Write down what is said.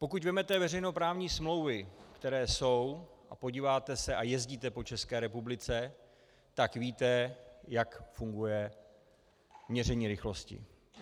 Pokud vezmete veřejnoprávní smlouvy, které jsou, a podíváte se a jezdíte po České republice, tak víte, jak funguje měření rychlosti.